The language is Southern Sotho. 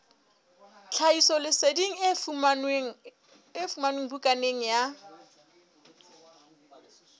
tlhahisoleseding e fumanwe bukaneng ya